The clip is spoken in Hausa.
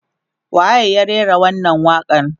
waye ya rera wannan waƙa n